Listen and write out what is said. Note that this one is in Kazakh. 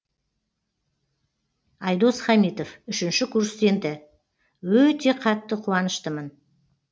айдос хамитов үшінші курс студенті өте қатты қуаныштымын